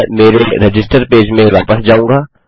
मैं मेरे register page में वापस जाऊँगा